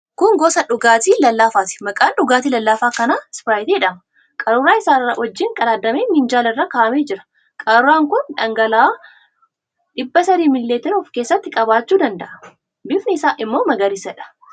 Kun gosa dhugaatii lallaafaati. Maqaan dhugaatii lallaafaa kanaa ispiraayitii jedhama. Qaruuraa isaa wajjin qadaadamee minjaala irra kaa'amee jira. Qaruuraan kun dhangala'aa 300ml of keessatti qabachuu danda'a. Bifni isaa immoo magariisadha.